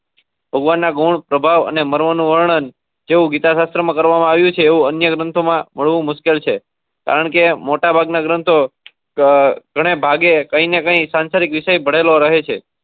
ભગવાન ના ગુણ પ્રભાવ ને મરવાનું વર્ણન જેવી ગીતા શાસ્ત્ર માં કરવા માં આવ્યું છે એવું અન્ય ગ્રંથો માં મળવુ મુશ્કેલ છે. કારણ કે મોટા ભાગના ગ્રંથો ક ગણ્યા ભાગે કઈ ના કઈ સંસારિક વિષય ભળેલો રહે છે.